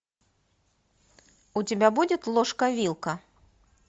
у тебя будет ложка вилка